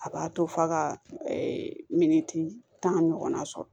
A b'a to f'a ka miniti tan ɲɔgɔn na sɔrɔ